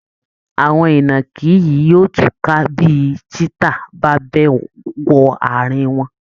Àwọn ìnàkí yìí yóò túká bí cheetah bá bẹ́ wọ ààrin wọn